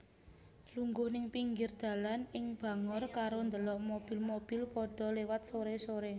Lungguh ning pinggir dalan ing Bangor karo ndelok mobil mobil podho lewat sore sore